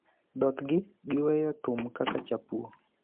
thothgi giweyo thum kaka chapuo,